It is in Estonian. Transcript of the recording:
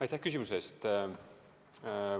Aitäh küsimuse eest!